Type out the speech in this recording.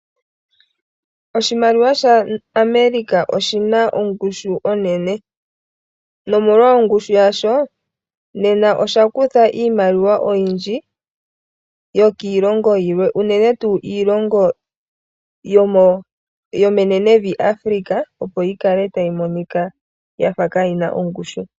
Oshimaliwa shaAmerica oshina ongushu onene, nomolwa ongushu yasho, nena osha kutha iimaliwa oyindji yokiilongo yilwe unene tuu iilongo yome nenevi Africa opo yikale tayi monika yafa kaayina ongushu.